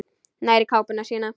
Nær í kápuna sína.